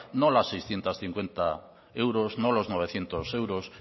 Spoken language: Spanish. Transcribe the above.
no los seiscientos cincuenta euros no los novecientos euros